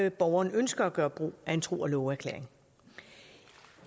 og borgeren ønsker at gøre brug af en tro og love erklæring